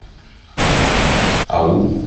ау